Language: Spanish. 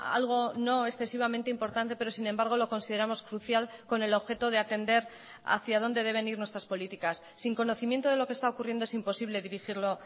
algo no excesivamente importante pero sin embargo lo consideramos crucial con el objeto de atender hacía dónde deben ir nuestras políticas sin conocimiento de lo que está ocurriendo es imposible dirigirlo